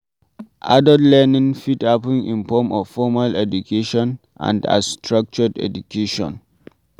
Adult learning fit happen in form of formal education and as structured education